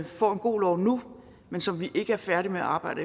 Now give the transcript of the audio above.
får en god lov nu men som vi ikke er færdige med at arbejde